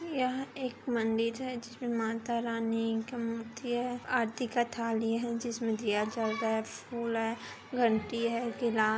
यह एक मंदिर है जिसमें माता रानी का मूर्ति है आरती का थाली है जिसमें दीया जल रहा है फूल है घंटि है गिला--